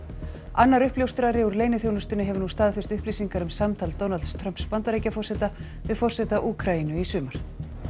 annar uppljóstrari úr leyniþjónustunni hefur nú staðfest upplýsingar um samtal Donalds Trumps Bandaríkjaforseta við forseta Úkraínu í sumar